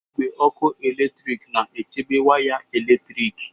Igwe ọkụ eletrik na-echebe waya eletrik.